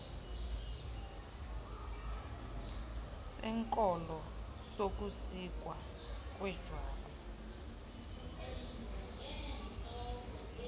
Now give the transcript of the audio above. senkolo sokusikwa kwejwabu